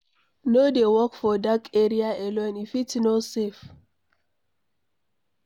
No dey walk for dark area alone, e fit no safe.